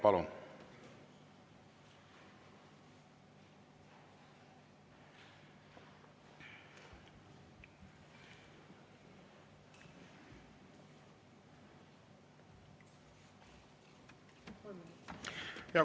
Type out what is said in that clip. Palun!